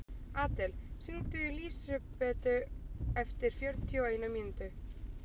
Adel, hringdu í Lísibetu eftir fjörutíu og eina mínútur.